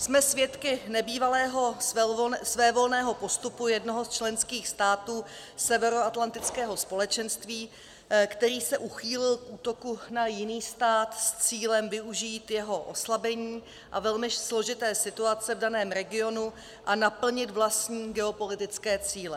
Jsme svědky nebývalého svévolného postupu jednoho z členských států severoatlantického společenství, který se uchýlil k útoku na jiný stát s cílem využít jeho oslabení a velmi složité situace v daném regionu a naplnit vlastní geopolitické cíle.